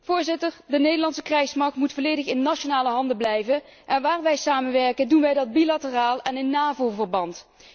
Voorzitter, de Nederlandse krijgsmacht moet volledig in nationale handen blijven en waar wij samenwerken, doen wij dat bilateraal en in Navo verband.